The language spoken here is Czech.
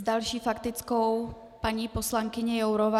S další faktickou paní poslankyně Jourová.